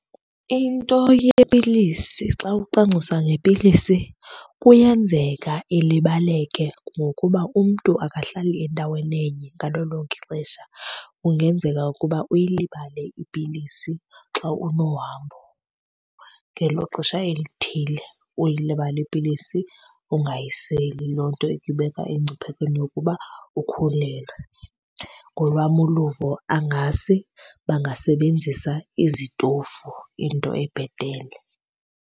Into yepilisi xa ucwangcisa ngepilisi kuyenzeka ilibaleke ngokuba umntu akahlali endaweni enye ngalo lonke ixesha. Kungenzeka ukuba uyilibale ipilisi xa unohambo ngelo xesha elithile, uyilibale ipilisi ungayiseli. Loo nto ikubeka emngciphekweni wokuba ukhulelwe. Ngolwam uluvo angase bangasebenzisa izitofu into ebhetele.